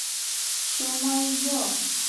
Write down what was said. шимойо